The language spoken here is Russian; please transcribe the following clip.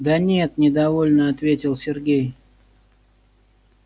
да нет недовольно ответил сергей